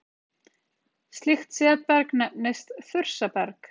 Slíkt setberg nefnist þursaberg.